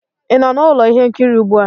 ị nọ na ụlọ ihe nkiri ugbu a?